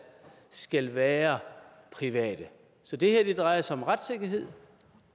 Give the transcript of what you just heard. skal være private så det her drejer sig om retssikkerhed